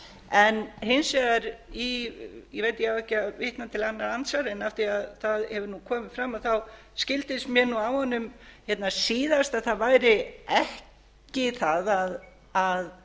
en hins vegar í ég veit ég á ekki að vera vitna til annarra andsvara en af því það hefur nú komið fram skildist mér nú á honum hérna síðast að það væri ekki það að